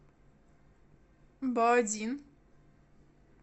баодин